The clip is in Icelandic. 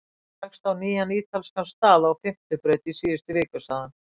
Ég rakst á nýjan ítalskan stað á Fimmtu braut í síðustu viku sagði hann.